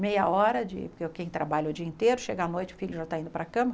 Meia hora, porque quem trabalha o dia inteiro, chega à noite, o filho já está indo para a cama.